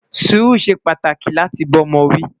Suru ṣé pàtàkì láti bá ọmọ wi